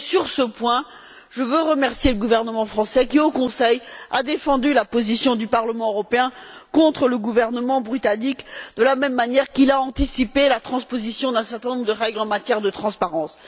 Sur ce point, je veux remercier le gouvernement français qui, au Conseil, a défendu la position du Parlement européen contre le gouvernement britannique, de la même manière qu'il a anticipé la transposition d'un certain nombre de règles en matière de transparence.